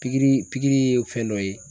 Pikiri pikiri ye fɛn dɔ ye